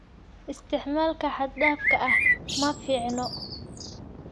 Isticmaalka xad dhaafka ah ma fiicna.